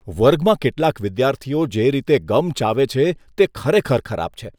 વર્ગમાં કેટલાક વિદ્યાર્થીઓ જે રીતે ગમ ચાવે છે તે ખરેખર ખરાબ છે.